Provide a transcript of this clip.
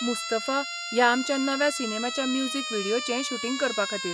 मुस्तफा' ह्या आमच्या नव्या सिनेमाच्या म्युझिक व्हिडियोचें शूटिंग करपाखातीर.